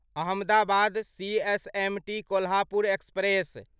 Ahmedabad CSMT Kolhapur express